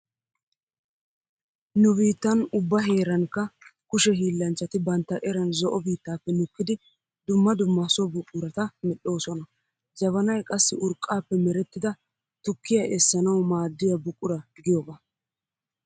Nu biittan ubba heerankka kushe hiillanchchati bantta eran zo'o biittaappe nukkidi dumma dumma so buqurata medhdhoosona. Jabanay qassi urqaappe merettida tukkiya essanawu maaddiya buqura giyogaa.